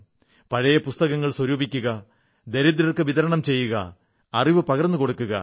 പഴയ പുസ്തകങ്ങൾ സ്വരൂപിക്കുക ദരിദ്രർക്ക് വിതരണം ചെയ്യുക അറിവ് പകർന്നുകൊടുക്കുക